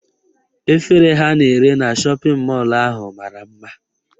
Efere ha na-ere na shọpịn mọlụ ahụ mara mma.